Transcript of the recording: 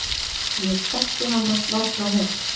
Ég þekki hann varla neitt.